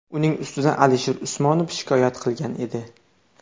Uning ustidan Alisher Usmonov shikoyat qilgan edi.